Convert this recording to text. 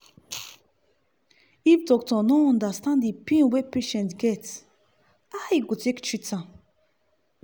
if doctor no understand dey pain wey patient get how e go take treat am.